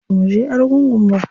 Bamu je argungu ba.